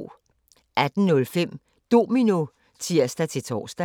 18:05: Domino (tir-tor)